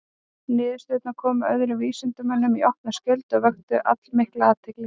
Niðurstöðurnar komu öðrum vísindamönnum í opna skjöldu og vöktu allmikla athygli.